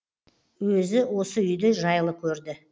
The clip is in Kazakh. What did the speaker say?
өзі осы үйді жайлы көрді